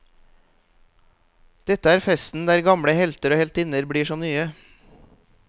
Dette er festen der gamle helter og heltinner blir som nye.